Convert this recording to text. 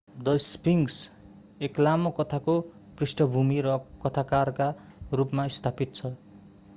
the sphinx एक लामो कथाको पृष्ठभूमि र कथाकारका रूपमा स्थापित छ